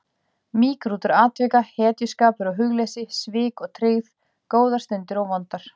Mýgrútur atvika, hetjuskapur og hugleysi, svik og tryggð, góðar stundir og vondar.